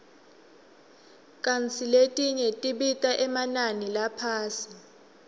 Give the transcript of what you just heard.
kantsi letinye tibita emanani laphasi